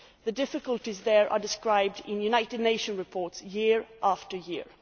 The difficulties there are described in United Nations reports year after year.